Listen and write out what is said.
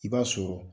I b'a sɔrɔ